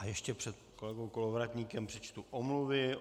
A ještě před kolegou Kolovratníkem přečtu omluvy.